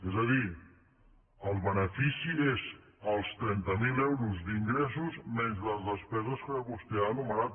és a dir el benefici és els trenta mil euros d’ingressos menys les despeses que vostè ha enumerat